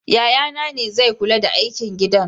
Yayana ne zai kula da aikin gidan.